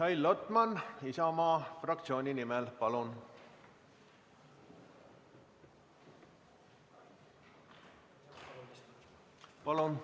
Mihhail Lotman, Isamaa fraktsiooni nimel, palun!